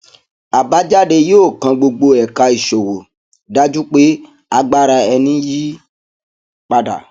àbájáde yóò kan gbogbo ẹka ìṣòwò dájú pé agbára ẹni yí padà